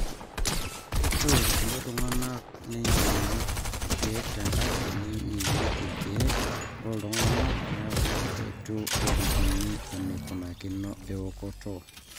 ore irkulie tung'anak neinyang'u irkeek tenkaji namirieki irkeek looltung'anak neok eitu elikini eneikunakino eokoto